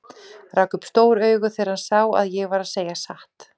Rak upp stór augu þegar hann sá að ég var að segja satt.